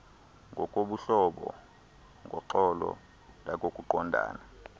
ngokobuhlobo ngoxolo nangokuqondana